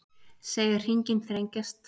Segja hringinn þrengjast